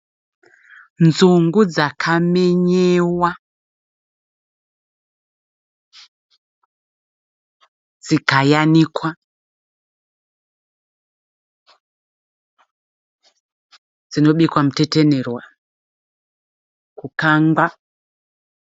Nzungu dzakamenyewa, dzikayanikwa ,dzinobikwa mutetenerwa, kukangwa.